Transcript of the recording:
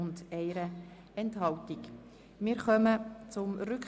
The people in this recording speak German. Rückweisung: Die Steuergesetzrevision 2019 ist mit folgenden Auflagen zurückzuweisen: